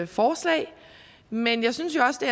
forslag men jeg synes også det